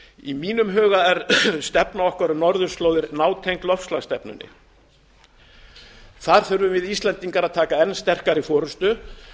í mínum huga er stefna okkar um norðurslóðir nátengd loftslagsstefnunni þar þurfum við íslendingar að taka enn sterkari forustu